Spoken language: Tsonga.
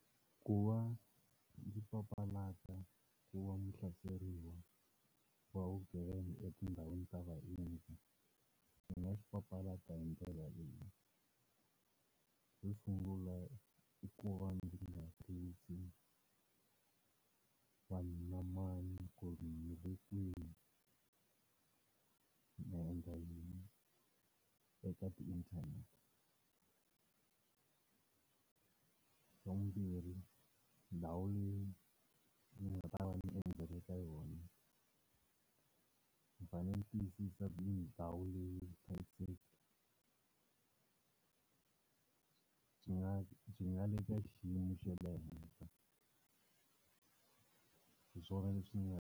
Ku va ndzi papalata ku va muhlaseriwa wa vugevenga etindhawini ta vaendzi, hi nga swi papalata hi ndlela leyi. Xo sungula i ku va ndzi nga tivisi mani na mani ku ri ni le kwihi, ni endla yini eka ti inthanete. Xa vumbirhi ndhawu leyi ni nga ta va ni endzele ka yona, ni fanele ni tiyisisa ku i ndhawu leyi vuhlayiseki byi nga byi nga le ka xiyimo xa le henhla. Hiswona leswi nga.